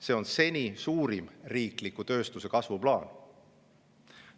See on seni suurim riikliku tööstuse kasvu plaan.